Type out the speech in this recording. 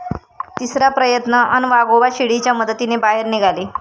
तिसरा प्रयत्न अन् वाघोबा शिडीच्या मदतीने बाहेर निघाले